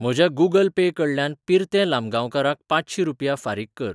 म्हज्या Google pay कडल्यान पिर्ते लामगांवकाराक पांचशीं रुपया फारीक कर.